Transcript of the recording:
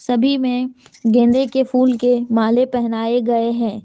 सभी में गेंदे के फूल के माले पहनाए गए हैं।